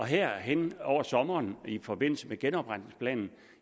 her hen over sommeren i forbindelse med genopretningsplanen